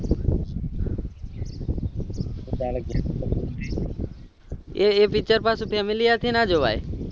એ એ picture પાછું family હાથે ના જોવાય